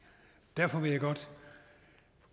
derfor vil jeg godt